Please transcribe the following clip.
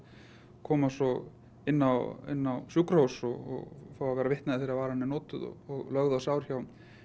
koma svo inn á inn á sjúkrahús og fá að vera vitni að því þegar varan er notuð og lögð á sár hjá